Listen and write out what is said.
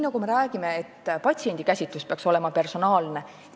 Me räägime, et patsiendikäsitlus peaks olema personaalne.